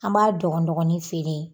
An b'a dɔgɔnin feere.